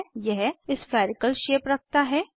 यह spherical spherical shape रखता है